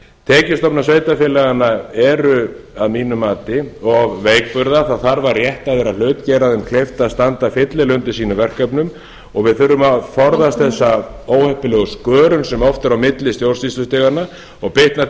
tekjustofnar sveitarfélaganna eru að mínu mati of veikburða það þarf að rétta þeirra hlut gera þeim kleift að standa fyllilega undir sínum verkefnum við þurfum að forðast þessa óheppilegu skörun sem oft er á milli stjórnsýslustiganna og bitnar